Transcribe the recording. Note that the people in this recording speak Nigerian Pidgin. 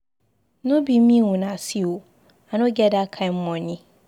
No be me una see ooo, I no get dat kin money.